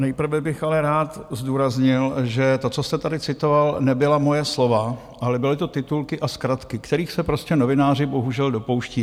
Nejprve bych ale rád zdůraznil, že to, co jste tady citoval, nebyla moje slova, ale byly to titulky a zkratky, kterých se prostě novináři bohužel dopouští.